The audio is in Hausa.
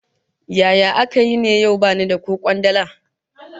Yaya aka yi ne yau bani da ko kwandala?